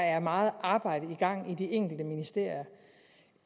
er meget arbejde i gang i de enkelte ministerier